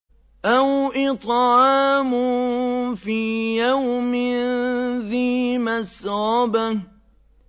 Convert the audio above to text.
أَوْ إِطْعَامٌ فِي يَوْمٍ ذِي مَسْغَبَةٍ